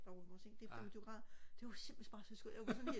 det femogtyve grader det var simpelthen bare så skønt jeg var sådan helt